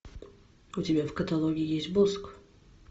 у тебя в каталоге есть босх